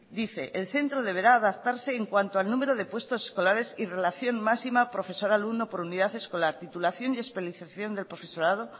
dice el centro deberá adaptarse en cuanto al número de puestos escolares y relación máxima profesor alumno por unidad escolar titulación y especialización del profesorado